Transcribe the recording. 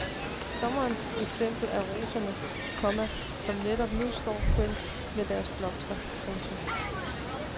Sommerens eksempel er roserne, komma som netop nu står så kønt med deres blomster. punktum